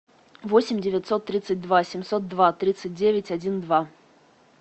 восемь девятьсот тридцать два семьсот два тридцать девять один два